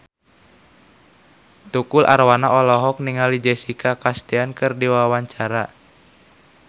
Tukul Arwana olohok ningali Jessica Chastain keur diwawancara